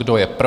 Kdo je pro?